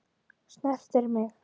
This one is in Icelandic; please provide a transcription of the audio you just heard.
Snertir mig.